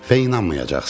Və inanmayacaqsınız.